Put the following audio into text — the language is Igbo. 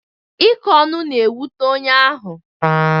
Ịkọ ọnụ na-ewute onye ahụ.